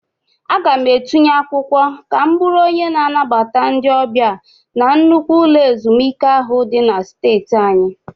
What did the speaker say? Aga m etinye akwụkwọ ka m bụrụ onye na-anabata ndị ọbịa na nnukwu ụlọ ezumike ahụ dị na streeti anyị.